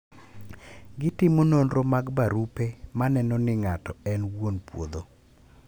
Gitimo nonro mag barupe maneno ni ngato en wuon puodho.